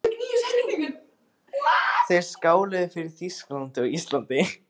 Þeir skáluðu fyrir Þýskalandi og Íslandi.